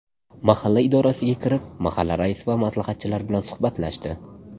Mahalla idorasiga kirib, mahalla raisi va maslahatchilar bilan suhbatlashdi.